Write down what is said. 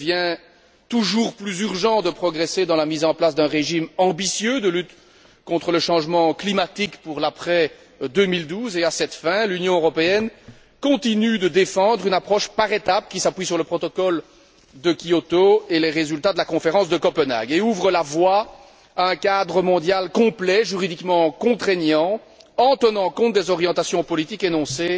Il devient toujours plus urgent de progresser dans la mise en place d'un régime ambitieux de lutte contre le changement climatique pour l'après 2012 et, à cette fin, l'Union européenne continue de défendre une approche par étape qui s'appuie sur le protocole de Kyoto et les résultats de la Conférence de Copenhague et ouvre la voie à un cadre mondial complet, juridiquement contraignant, en tenant compte des orientations politiques énoncées